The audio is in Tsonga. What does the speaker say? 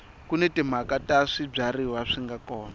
kuni tinxaka ta swibyariwa swinga kona